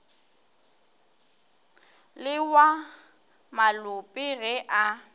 le wa malope ge a